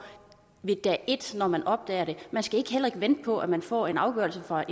dag et når man opdager det og man skal heller ikke vente på at man får en afgørelse fra